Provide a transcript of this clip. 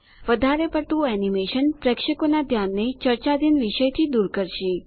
વધારે પડતું એનીમેશન પ્રેક્ષકોનાં ધ્યાનને ચર્ચાધીન વિષયથી દુર કરશે